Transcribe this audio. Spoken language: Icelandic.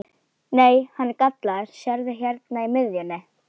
Nei, hann er gallaður, sérðu hérna í miðjunni.